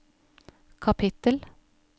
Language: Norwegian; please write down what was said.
kapittel